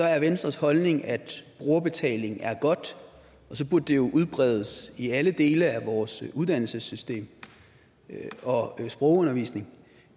er venstres holdning at brugerbetaling er godt og så burde det jo udbredes i alle dele af vores uddannelsessystem og sprogundervisning